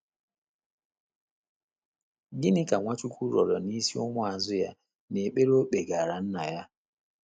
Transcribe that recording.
Gịnị ka Nwachukwu rịọrọ n’isi ụmụazụ ya n’ekpere o kpegaara Nna ya?